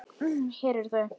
Hér eru þau